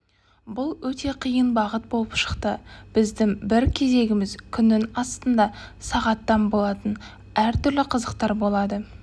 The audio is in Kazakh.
бұл өте қиын бағыт болып шықты біздің бір кезегіміз күннің астында сағаттан болатын әртүрлі қызықтар болады